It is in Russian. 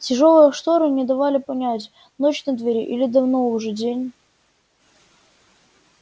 тяжёлые шторы не давали понять ночь на дворе или давно уже день